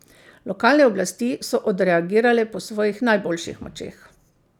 Lokalne oblasti so odreagirale po svojih najboljših močeh.